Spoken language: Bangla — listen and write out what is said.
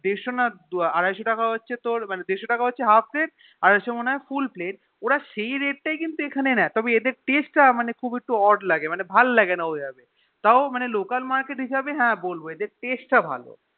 দেড়শো না আড়াইশো টাকা হচ্ছে তোর দেড়শো টাকা হচ্ছে তোর Half plate আড়াইশো মনে হয় Full plate ওরা সেই Rate তাই কি কিন্তু এখানে নিয়ে কিন্তু এদের এখানে Taste তা খুব একটু Odd লাগে ভাল লাগেনা ওই আরকি তও মানে Local market হিসাব হ্যা বলবো এদের Taste তা ভালো